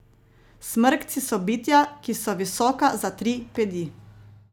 Smrkci so bitja, ki so visoka za tri pedi.